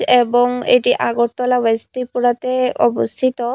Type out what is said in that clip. এবং এটি আগরতলা ওয়েস্ট ত্রিপুরাতে অবস্থিত।